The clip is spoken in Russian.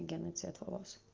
у гены цвет волос